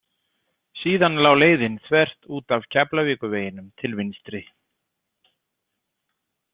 Síðan lá leiðin þvert út af Keflavíkurveginum til vinstri.